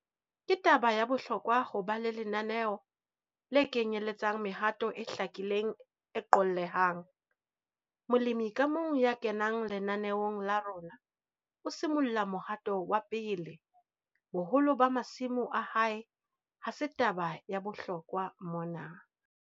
Ke taba ya bohlokwa ho ba le lenaneo le kenyeletsang mehato e hlakileng e qollehang - molemi ka mong ya kenang lenaneong la rona o simolla mohatong wa 1 - boholo ba masimo a hae ha se taba ya bohlokwa mona.